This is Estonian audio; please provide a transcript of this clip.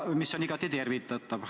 See on igati tervitatav.